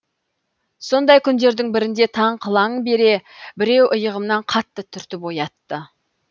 сондай күндердің бірінде таң қылаң бере біреу иығымнан қатты түртіп оятты